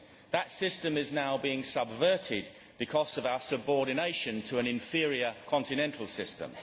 That system is now being subverted because of our subordination to an inferior continental system.